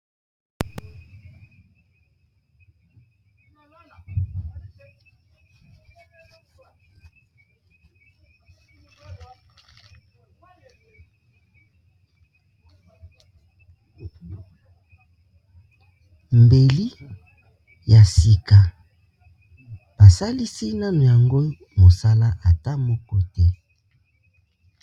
Mbeli ya sika basalisi nano yango mosala ata moko te.